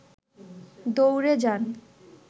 দৌড়ে যান